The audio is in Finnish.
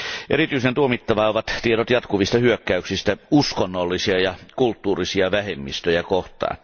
Erityisen tuomittavaa ovat tiedot jatkuvista hyökkäyksistä uskonnollisia ja kulttuurisia vähemmistöjä kohtaan.